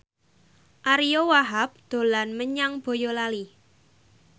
Ariyo Wahab dolan menyang Boyolali